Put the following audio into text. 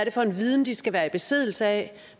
er for en viden de skal være i besiddelse af